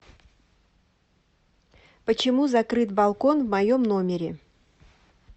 почему закрыт балкон в моем номере